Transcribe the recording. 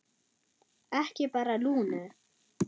Ekki bara Lúnu.